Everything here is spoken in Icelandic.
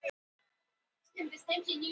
Hafið engar áhyggjur.